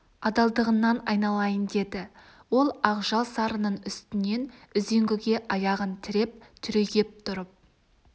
адалдығыңнан айналайын деді ол ақжал сарының үстінен үзеңгіге аяғын тіреп түрегеп тұрып